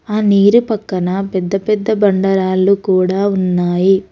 ఆ నీరు పక్కన పెద్ద పెద్ద బండరాళ్లు కూడా ఉన్నాయి.